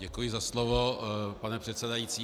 Děkuji za slovo, pane předsedající.